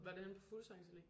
Var det henne på Fuglsangs allé?